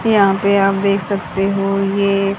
यहां पे आप देख सकते हो ये--